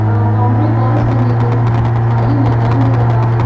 अं boundary balls बनी हैं। खाली मैंदान दिख रहा हे ।